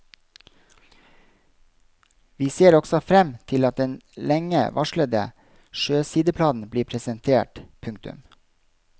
Vi ser også frem til at den lenge varslede sjøsideplanen blir presentert. punktum